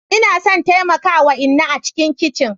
Ina son taimaka wa inna a cikin kicin.